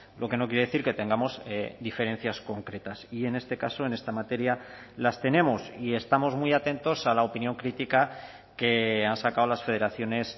lo que no quiere decir que tengamos diferencias concretas y en este caso en esta materia las tenemos y estamos muy atentos a la opinión crítica que han sacado las federaciones